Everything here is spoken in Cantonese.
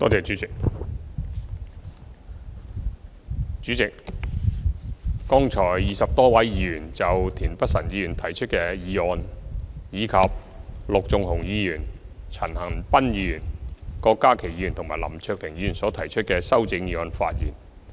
主席，剛才20多位議員就田北辰議員提出的議案，以及陸頌雄議員、陳恒鑌議員、郭家麒議員及林卓廷議員所提出的修正議案發言。